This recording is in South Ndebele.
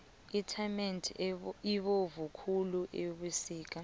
itamati ibovu khulu ebusika